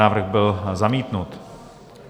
Návrh byl zamítnut.